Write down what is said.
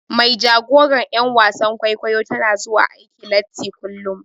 Mai jagoran yar wasan kwaikwayo tana zuwa aiki latti kullum.